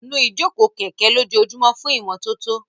Nu ìjókòó kẹ̀kẹ́ lójoojúmọ́ fún ìmọ́tótó.